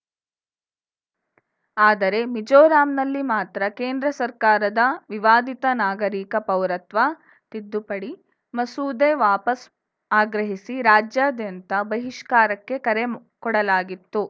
ಆದರೆ ಮಿಜೋರಾಂನಲ್ಲಿ ಮಾತ್ರ ಕೇಂದ್ರ ಸರ್ಕಾರದ ವಿವಾದಿತ ನಾಗರಿಕ ಪೌರತ್ವ ತಿದ್ದುಪಡಿ ಮಸೂದೆ ವಾಪಸ್‌ ಆಗ್ರಹಿಸಿ ರಾಜ್ಯಾದ್ಯಂತ ಬಹಿಷ್ಕಾರಕ್ಕೆ ಕರೆ ಕೊಡಲಾಗಿತ್ತು